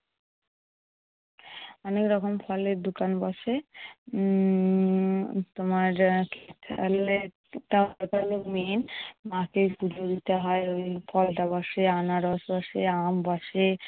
অনেকরকম ফলের দোকান বসে। উম তোমার মাকে পুজো দিতে হয়। ঐ আনারস বসে, আম বসে।